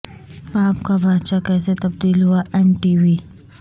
پاپ کا بادشاہ کیسے تبدیل ہوا ایم ٹی وی